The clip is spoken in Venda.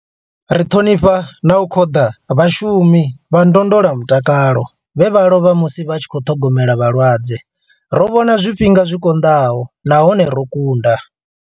Ri ṱhonifha na u khoḓa vhashumi vha ndondolamutakalo vhe vha lovha musi vha tshi khou ṱhogomela vhalwadze. Ro vhona zwifhinga zwi konḓaho nahone ro kunda.